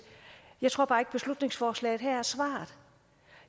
jeg tror bare ikke beslutningsforslaget her er svaret